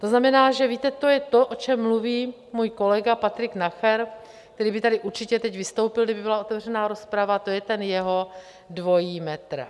To znamená, že víte, to je to, o čem mluví můj kolega Patrik Nacher, který by tady určitě teď vystoupil, kdyby byla otevřená rozprava, to je ten jeho dvojí metr.